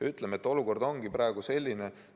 Ütleme, et olukord on praegu selline.